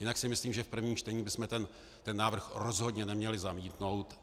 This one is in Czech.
Jinak si myslím, že v prvním čtení bychom ten návrh rozhodně neměli zamítnout.